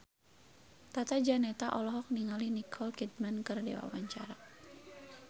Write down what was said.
Tata Janeta olohok ningali Nicole Kidman keur diwawancara